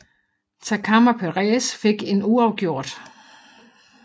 Takam og Perez fik en uafgjort